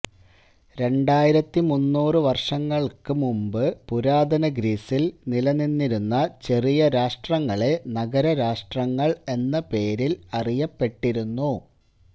രണ്ടായിരത്തിമുന്നൂറ് വർഷങ്ങൾക്കുമുമ്പ് പുരാതന ഗ്രീസിൽ നിലനിന്നിരുന്ന ചെറിയ രാഷ്ട്രങ്ങളെ നഗര രാഷ്ട്രങ്ങൾ എന്ന പേരിൽ അറിയപ്പെട്ടിരുന്നു